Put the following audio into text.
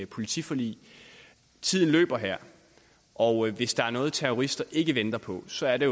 politiforlig tiden løber her og hvis der er noget terrorister ikke venter på så er det